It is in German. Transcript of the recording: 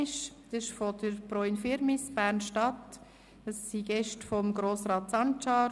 Sie kommt von der Pro Infirmis der Bern Stadt und es sind Gäste von Grossrat Sancar.